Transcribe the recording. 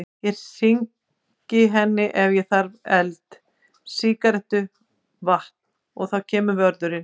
Ég hringi henni ef ég þarf eld, sígarettu, vatn. og þá kemur vörðurinn.